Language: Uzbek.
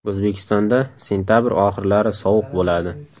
O‘zbekistonda sentabr oxirlari sovuq bo‘ladi.